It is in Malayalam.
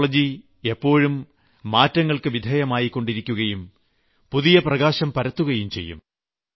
ടെക്നോളജി എപ്പോഴും മാറ്റങ്ങൾക്ക് വിധേയമായിക്കൊണ്ടിരിക്കുകയും പുതിയ പ്രകാശം പരത്തുകയും ചെയ്യും